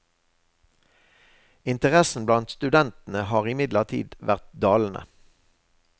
Interessen blant studentene har imidlertid vært dalende.